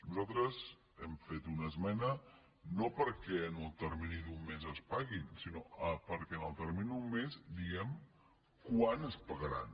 nosaltres hem fet una esmena no perquè en el termini d’un mes es paguin sinó perquè en el termini d’un mes diguem quan es pagaran